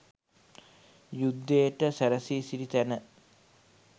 යුද්ධයට සැරැසී සිටි තැන